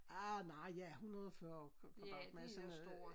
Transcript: Arh nej ja 140 kvadratmeter sådan noget